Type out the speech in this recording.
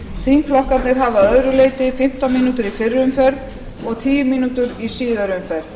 þingflokkarnir hafa að öðru leyti fimmtán mínútur í fyrri umferð og tíu mínútur í síðari umferð